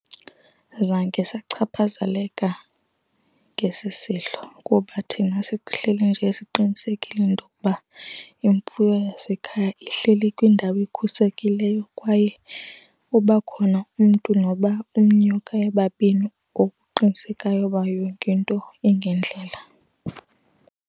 Azange zachaphazeleka ngesi sehlo kuba thina sihleli nje siqinisekile intokuba imfuyo yasekhaya ihleli kwindawo ekhuselekileyo kwaye uba khona umntu noba umnye okanye babini oqinisekayo ukuba yonke into ingendlela.